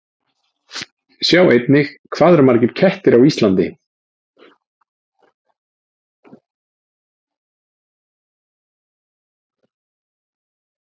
Sjá einnig: Hvað eru margir kettir á Íslandi?